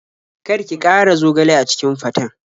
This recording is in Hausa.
Kar ki ƙara zogale a cikin faten.